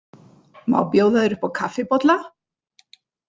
Má bjóða þér upp á kaffibolla?